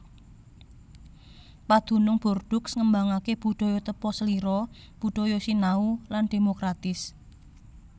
Padunung Bordeaux ngembangaken budaya tepaselira budaya sinau lan dhémokratis